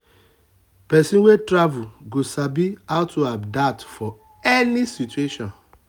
person wey travel go sabi how to adapt for any situation.